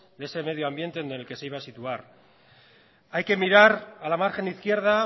de ese medio ambiente en el que se iba a situar hay que mirar a la margen izquierda